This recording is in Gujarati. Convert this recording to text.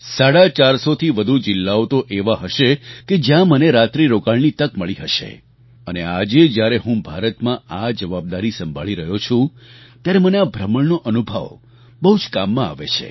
સાડા ચારસોથી વધુ જિલ્લાઓ તો એવા હશે કે જ્યાં મને રાત્રિરોકાણની તક મળી હશે અને આજે જ્યારે હું ભારતમાં આ જવાબદારી સંભાળી રહ્યો છું ત્યારે મને આ ભ્રમણનો અનુભવ બહુ જ કામમાં આવે છે